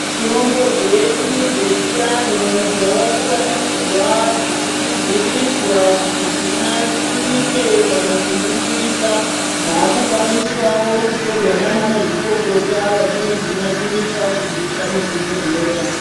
Mitombo dzedu dzechiantu dzakuvandudzwa dzichikwidziridzwa kuti dzinatsirike kana kuningirika dzakukwanisawo kutorwa nana mazvikokota vachinodzinasirisa kudziisa muzvibhohleya.